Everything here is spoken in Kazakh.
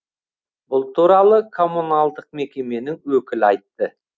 бұл туралы коммуналдық мекеменің өкілі айтты